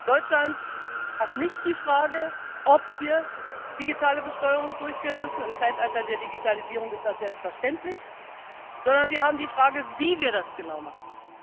Deutschland hat nicht die Frage, ob wir digitale Besteuerung durchführen müssen im Zeitalter der Digitalisierung ist das selbstverständlich sondern wir haben die Frage, wie wir das genau machen.